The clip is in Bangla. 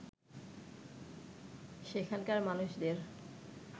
সেখানকার মানুষদের